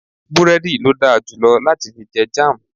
búrẹ́dì lo darjulo lati fi je Jam